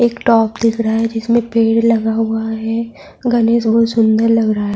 ایک ٹاک بنا ہوا ہے جس میں پیڈ لگا ہوا ہے گنیش بہت سندر دکھ رہا ہے-